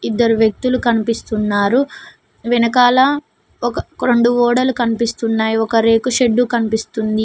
ఇద్దరు వ్యక్తులు కనిపిస్తున్నారు వెనకాల ఒక రొండు ఓడలు కనిపిస్తున్నాయి ఒక రేకు షెడ్డు కనిపిస్తుంది.